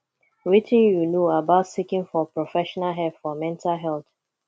wetin you know about seeking for professional help for mental health